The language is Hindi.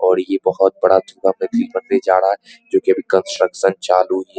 और ये बहुत बड़ा झूला बनने जा रहा है जो की अभी कंस्ट्रक्शन चालू ही --